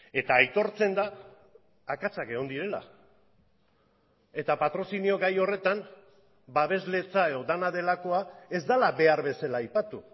eta aitortzen da akatsak egon direla eta patrozinio gai horretan babesletza edo dena delakoa ez dela behar bezala aipatu